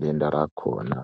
denda rakona.